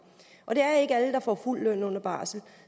det er ikke alle der får fuld løn under barsel